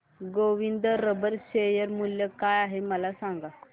Govind rubber share मूल्य काय आहे मला सांगा